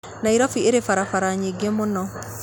Nairobi ĩrĩ barabara nyĩngĩ mũno